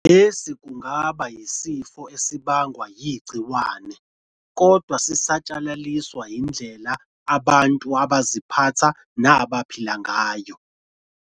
Lesi kungaba yisifo esibangwa yigciwane, kodwa sisatshalaliswa yindlela abantu abaziphatha nabaphila ngayo.